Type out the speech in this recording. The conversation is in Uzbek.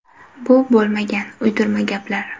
Bu bo‘lmagan, uydirma gaplar.